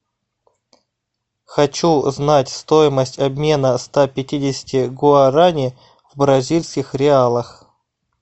хочу знать стоимость обмена ста пятидесяти гуарани в бразильских реалах